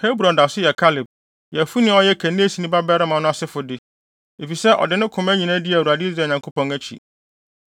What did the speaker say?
Hebron da so yɛ Kaleb, Yefune a ɔyɛ Kenesini babarima no asefo de, efisɛ ɔde ne koma nyinaa dii Awurade Israel Nyankopɔn akyi.